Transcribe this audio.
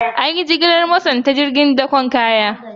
An yi jigilar motarsa ​​ta cikin jirgin dakon kaya.